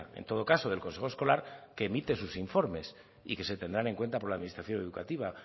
en todo caso del consejo escolar que emite en sus informes y que se tendrán en cuenta por la administración educativa